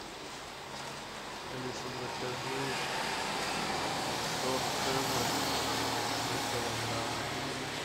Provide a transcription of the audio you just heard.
алиса закажи торт цезарь на килограмм